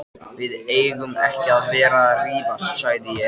Við eigum ekki að vera að rífast sagði ég.